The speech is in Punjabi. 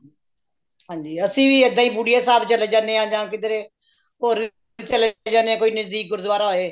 ਹਾਂਜੀ ਅਸੀਂ ਵੀ ਇੱਦਾਂ ਹੀ ਕੁਟੀਆ ਸਾਹਿਬ ਚਲੇ ਜਾਂਦੇ ਹਾਂ ਜਾ ਕਿੱਧਰੇ ਹੋਰ ਕਿੱਥੇ ਚੱਲੇ ਜਾਣੇ ਹਾਂ ਕੋਈ ਨਜ਼ਦੀਕ ਗੁਰੂਦੁਆਰਾ ਹੋਏ